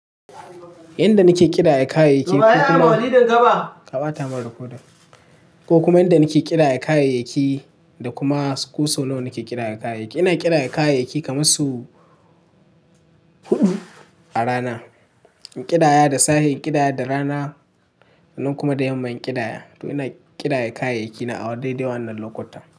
Yanda nake ƙidaya kayayyaki ko kuma yanda nake ƙidaya kayayyaki da kuma su ko sau nawa nake ƙidaya kayayyaki. Ina ƙidaya kayayyaki kamar sau huɗu a rana. In ƙidaya da safe, in ƙidaya da rana nan kuma da yamma in ƙidaya. To ina ƙidaya kayayyaki na a wa daidai wannan lokuta.